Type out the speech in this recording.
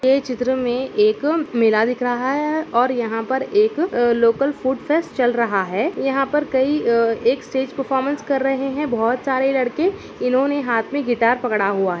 यह चित्र में एक मेला दिख रहा है| और यहाँ पर एक अ लोकल फ़ूड फेस्ट चल रहा है| यहाँ पर कई अ एक स्टेज परफॉरमेंस कर रहे हैं बहुत सारे लड़के इन्होंने हाथ में गिटार पकड़ा हुआ है।